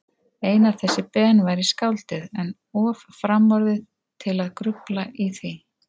Einar þessi Ben væri skáldið, en of framorðið til að grufla í því.